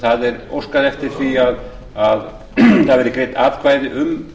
það er óskað eftir því að atkvæði verði greidd um